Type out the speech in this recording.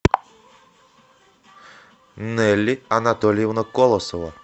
нелли анатольевна колосова